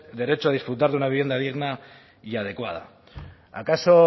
derecho a disfrutar de una vivienda digna y adecuada acaso